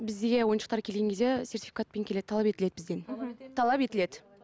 бізге ойыншықтар келген кезде сертификатпен келеді талап етіледі бізден талап етіледі